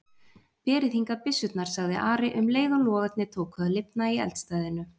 Berið hingað byssurnar, sagði Ari um leið og logarnir tóku að lifna í eldstæðinu.